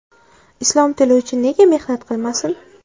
islom tili uchun nega mehnat qilmasin?.